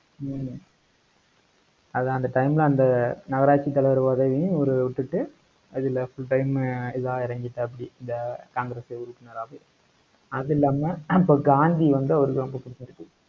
ஹம் அது தான் அந்த time ல, அந்த நகராட்சி தலைவர் பதவியும் இவரு விட்டுட்டு அதுல full time உ இதா இறங்கிட்டாப்படி, இந்த காங்கிரஸ் உறுப்பினராவே. அது இல்லாம, அப்ப காந்தி வந்து அவருக்கு ரொம்ப புடிச்சது.